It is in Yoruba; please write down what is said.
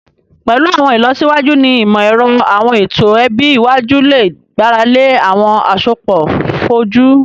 Pẹlu awọn ilọsiwaju ni imọ-ẹrọ, awọn eto ẹbi iwaju le gbarale awọn asopọ foju